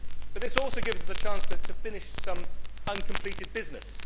This also gives us a chance to finish some uncompleted business.